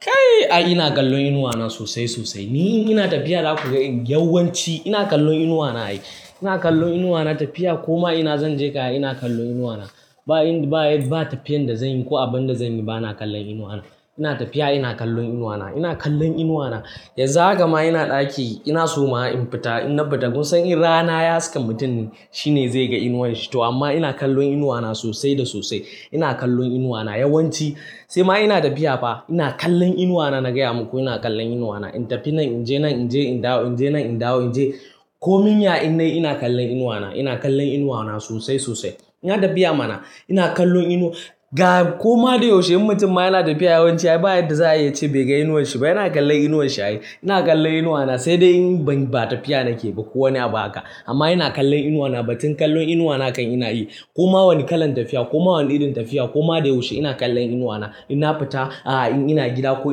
Kai! Ina kallon inuwa na sosai sosai. Ni ina tafiya za ku ga yawanci ina kallon inuwa na. Ina kallon inuwa na tafiya, koma ina zan je ka ina kallon inuwa na. Ba tafiyan da zanyi ko abun da zanyi ba, ina kallon inuwa na. Ina tafiya ina kallon inuwa na, ina kallon inuwa na. Yanzu haka ma ina ɗaki ina so ma in fita in na fita kun san in rana ya saki mutum shi ne zai ga inuwarshi to amma ina kallon inuwa na sosai da sosai. Ina kallon inuwa na yawanci sai ma ina tafiya ba ina kallon inuwa na. Na gaya maku ina kallon inuwa na. In tafi nan in je ina dawo, in je nan in dawo, in je komi yayi ina ina kallon inuwa na. Ina kallon inuwa na sosai sosai. Ina tafiya mana ina kallon inuwa. Koma da yaushe mutum ma yana tafiya yawanci ba'da za a ce bai ga inuwarshi ba. Yana kallon inuwarshi ai. Ina kallon inuwa na sai dai ba tafiya nake ba kowane abu aka. Amma ina kallon inuwa na. Batun kallon inuwa na kan ina yi. Koma wani kalan tafiya, koma wani irin tafiya, koma da yaushe ina kallon inuwa na. In na fita, aa in ina gida ko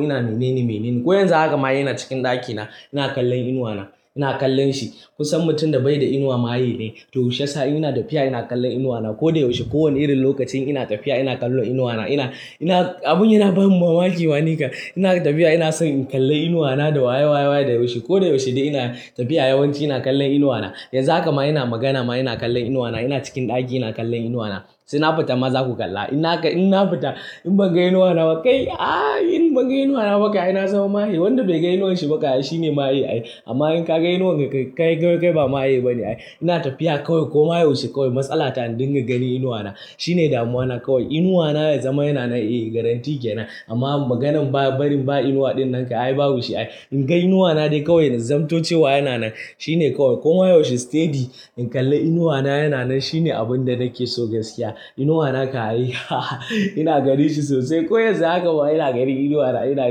ina mene ne mene ne. Ko yanzu haka ma ina cikin ɗakina ina kallon inuwa na. Ina kallon shi. Kun san mutum da bai da inuwa maye ne. Toh, yaushe sai ina tafiya ina kallon inuwa na. Ko da yaushe, kowane irin lokaci ina tafiya ina kallon inuwa ina na. Na abun yana bani mamaki wa. Nika ina tafiya ina son in kalli inuwa na da waye waye waye da yaushe. Ko da yaushe ina tafiya yawanci ina kallon inuwa na. Yanzu haka ma ina magana ma ina kallon inuwa na. Ina cikin ɗaki ina kallon inuwa na. Sai na fita ma za ku kalla. In na fita in ban ga inuwa na ba kai! Ai in ban ga inuwa na ba kai ai na zama maye. Wanda bai ga inuwarshi ba kai shi ne maye ai. Amma in ka ga inuwan ka kai, kai ba maye ba ne ai. Ina tafiya kawai koma yaushe kawai matsala ta indin ka gani inuwa na. Shi ne damuwa na kawai. Inuwa na da zama yana nan eh garantin kenan. Amma maganan barin ba inuwa ɗin nan kai ai babu shi ai. In ga inuwa na dai kawai zamantacewa yana nan. Shi ne kawai. Koma yaushe steady in kalli inuwa na yana nan shi ne abun da nake so gaskiya. Inuwa na kai haha ai ina gani shi sosai. Ko yanzu haka ma ina gani inuwa na ina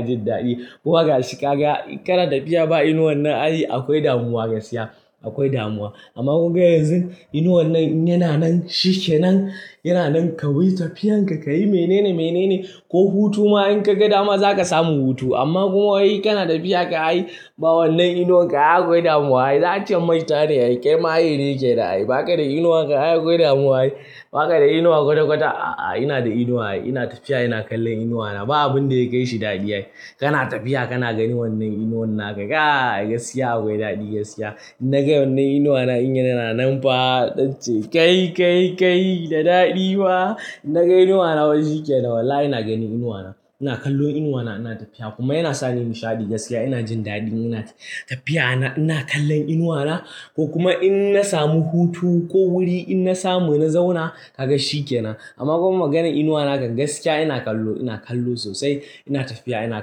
jin daɗi. Kowa ga shi ka ga kana tafiya ba inuwan nan ai akwai damuwa gaskiya. Akwai damuwa. Amma kun ga yanzin inuwan nan yana nan, shi kenan. Yana nan ka yi tafiyan ka, ka yi mene ne mene ne ko hutu ma in ka ga dama za ka samu hutu. Amma komai kana tafiya ka ai ba wannan inuwan ka akwai damuwa ai. Za a ce maita ne ai. Kema ai dai yake da ai. Baka da inuwan ka akwai damuwa ai. Baka da inuwa kwata kwata a'a ina da inuwa ai. Ina tafiya ina kallon inuwa na. Ba abun da ya kai shi daɗi ai. Kana tafiya kana ganin wannan inuwan naka kai gaskiya akwai daɗi gaskiya. Na ga wannan inuwa na in yana nan fa datti kai kai kai da daɗi wa. Na ga inuwa na wani shike na wallahi ina gani inuwa na. Ina kallon inuwa na ina tafiya kuma yana sani nishaɗi gaskiya ina jin daɗin ina tafiya ina kallon inuwa na. Ko kuma in na samu hutu ko wuri in na samu ina zauna ka ga shi kenan. Amma komai maganan inuwa naka gaskiya ina kallo, ina kallo sosai. Ina tafiya ina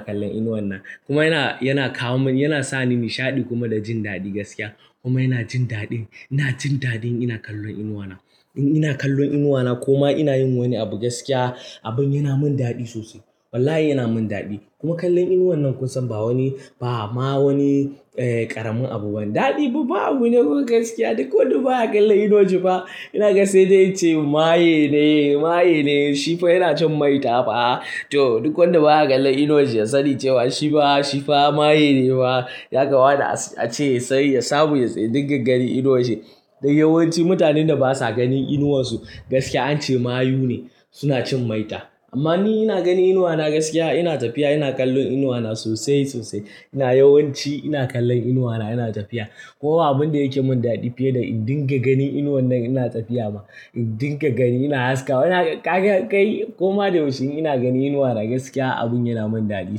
kallon inuwan nan. Kuma yana kawo mun, yana sani nishaɗi kuma da jin daɗi gaskiya. Kuma ina jin daɗin, ina jin daɗin ina kallon inuwa na. In ina kallon inuwa na koma ina yin wani abu gaskiya abun yana mun daɗi sosai. Wallahi yana mun daɗi. Kuma kallon inuwan nan kun san ba wani, ba ma wani ƙaramin abu bane. Daɗi abu ne kawai gaskiya. Duk wanda ba ya kallon inuwanshi ba ina gaskiya dai ice maye ne, maye ne. Shi fa yana cin maita fa. Toh, duk wanda ba ya kallon inuwanshi ya sani cewa shi fa, shi fa maye ne fa. Ya kawana a ce sai ya sabo ya tsai indin ka gani inuwanshi. Da yawanci mutanen da basa ganin inuwansu gaskiya an ce mayu ne. Suna cin maita. Amma ni ina gani inuwa na gaskiya ina tafiya ina kallon inuwa na sosai sosai. Ina yawanci ina kallon inuwa na ina tafiya. Kowa abun da yake mun daɗi fiye da indin ka gani inuwan nan ina tafiya ma. Indin ka gani ina haska. Kai koma da yaushe ina gani inuwa na gaskiya abun yana mun daɗi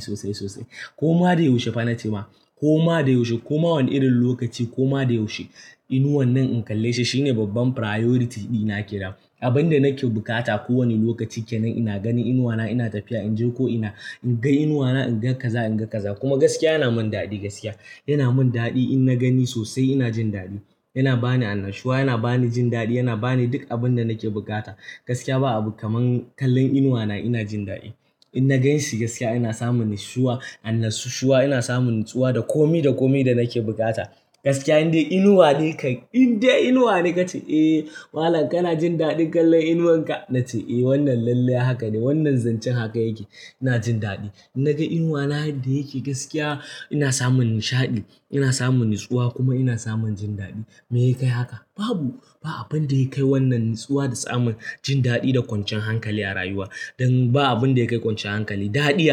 sosai sosai. Koma da yaushe fa na ce ma. Koma da yaushe, koma wani irin lokaci, koma da yaushe inuwan nan in kalle shi shi ne babban priority dina kenan. Abin da nake bukata kowane lokaci kenan ina gani inuwa na ina tafiya in je ko ina. In ga inuwa na in ga kaza in ga kaza. Kuma gaskiya yana mun daɗi gaskiya. Yana mun daɗi in na gani sosai ina jin daɗi. Yana bani annashuwa, yana bani jin daɗi, yana bani duk abun da nake bukata. Gaskiya ba abu kaman kallon inuwa na ina jin daɗi. In na ganshi gaskiya ina samun nishshuwa, annashuwa ina samun natsuwa da komi da komi da nake bukata. Gaskiya indai inuwa dika, indai inuwa ne ka ce "Eh malam kana jin daɗin kallon inuwan ka?" Na ce "Eh wannan lalle haka ne. Wannan zancen haka yake." Ina jin daɗi. Na ga inuwa na yadda yake gaskiya ina samun nishaɗi. Ina samun natsuwa kuma ina samun jin daɗi. Meyakai haka? Babu, ba abun da yakai wannan natsuwa da samun jin daɗi da kwancin hankali a rayuwa. Dan ba abun da yakai kwancin hankali, daɗi.